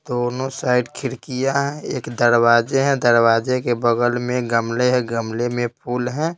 दोनों साइड खिड़कियां हैं एक दरवाजे हैं दरवाजे के बगल में गमले है गमले में फूल है।